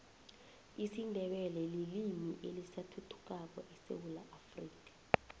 isindebele lilimi elisathuthukako esewula afrika